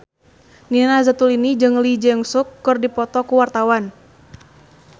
Nina Zatulini jeung Lee Jeong Suk keur dipoto ku wartawan